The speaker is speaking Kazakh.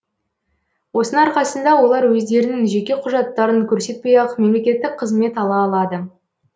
осының арқасында олар өздерінің жеке құжаттарын көрсетпей ақ мемлекеттік қызмет ала алады